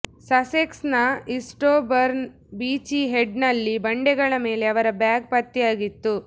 ಸಸೆಕ್ಸ್ನ ಈಸ್ಟ್ಬೋರ್ನ್ನ ಬೀಚಿ ಹೆಡ್ನಲ್ಲಿ ಬಂಡೆಗಳ ಮೇಲೆ ಅವರ ಬ್ಯಾಗ್ ಪತ್ತೆಯಾಗಿತ್ತು